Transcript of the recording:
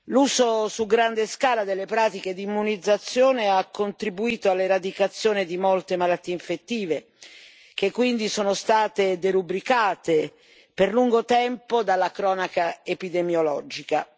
L'uso su grande scala delle pratiche di immunizzazione ha contribuito all'eradicazione di molte malattie infettive, che quindi sono state derubricate per lungo tempo dalla cronaca epidemiologica.